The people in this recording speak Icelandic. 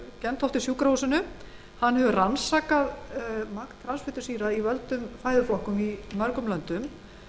á gentofte sjúkrahúsinu í kaupmannahöfn hefur rannsakað magn transfitusýra í völdum fæðuflokkum í mörgum löndum